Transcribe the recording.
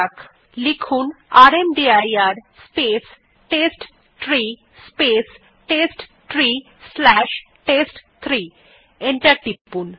command prompt এ rmdir space testtree space testtree slash test three লিখে enter টিপুন